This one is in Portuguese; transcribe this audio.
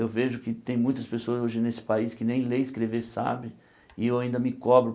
Eu vejo que tem muitas pessoas hoje nesse país que nem ler e escrever sabem, e eu ainda me cobro.